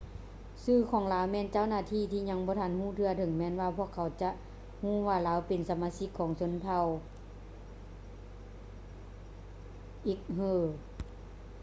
ຊື່ຂອງລາວແມ່ນເຈົ້າໜ້າທີ່ຍັງບໍ່ທັນຮູ້ເທື່ອ ເຖິງແມ່ນວ່າພວກເຂົາຈະຮູ້ວ່າລາວເປັນສະມາຊິກຂອງຊົນເຜົ່າ uighur